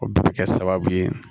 O bɛɛ bɛ kɛ sababu ye